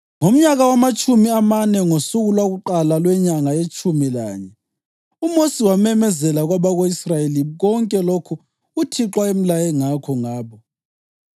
Ngomnyaka wamatshumi amane, ngosuku lwakuqala lwenyanga yetshumi lanye, uMosi wamemezela kwabako-Israyeli konke lokho uThixo ayemlaye ngakho ngabo.